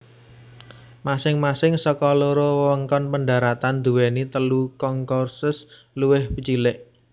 Masing masing saka loro wewengkon pendaratan duwéni telu concourses luwih cilik